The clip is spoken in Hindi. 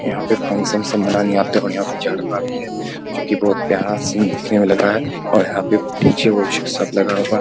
यहाँ पे फंक्शन सब मनाने आते और यहाँ पे जाड़ा भी है जो कि बहुत प्यारा सीन देखने में लग रहा है और यहाँ पे डी.जे. वीजे सब लगा है।